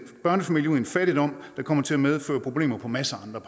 børnefamilier ud i en fattigdom der kommer til at medføre problemer på masser af